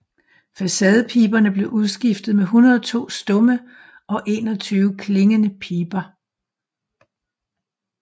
Facadepiberne blev udskiftet med 102 stumme og 21 klingende piber